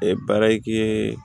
baara ke